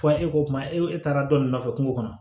Fɔ e ko kuma e taara dɔ ne nɔfɛ kungo kɔnɔ